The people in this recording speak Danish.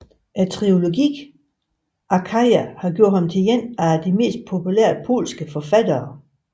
Trilogien Achaja har gjort ham til en af mest populære polske sf forfattere